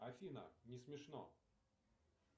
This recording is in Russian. афина не смешно